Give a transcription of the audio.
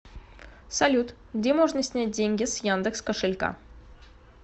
салют где можно снять деньги с яндекс кошелька